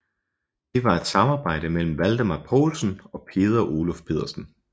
Det var et samarbejde mellem Valdemar Poulsen og Peder Oluf Pedersen